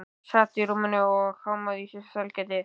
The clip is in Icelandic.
Hún sat á rúminu mínu og hámaði í sig sælgætið.